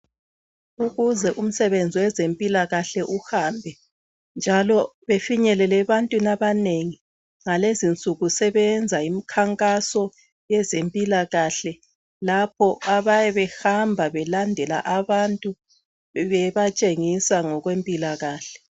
ukuze umsebenzi wezempilakahle uhambe njalo befinyelele ebantwini abanengi kulezo insuku sebeyenza umkhankaso owezempilakahle lapho abayabe behamba belandela abantu bebatshengisa ngokwe mpilakahle